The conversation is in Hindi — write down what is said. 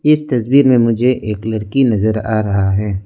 इस तस्वीर में मुझे एक लड़की नजर आ रहा है।